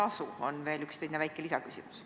See on veel üks väike lisaküsimus.